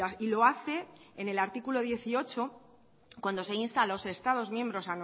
y lo hace en el artículo dieciocho cuando se insta a los estados miembros